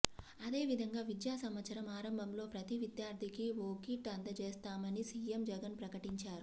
అదే విధంగా విద్యా సంవత్సరం ఆరంభంలో ప్రతీ విద్యార్థికి ఓ కిట్ అందజేస్తామని సీఎం జగన్ ప్రకటించారు